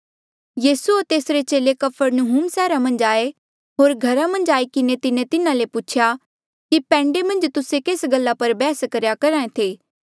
यीसू होर तेसरे चेले कफरनहूम सैहरा मन्झ आये होर घरा मन्झ आई किन्हें तिन्हें तिन्हा ले पूछेया कि पैंडे मन्झ तुस्से केस गल्ला पर बैहस करेया करहा ऐें थे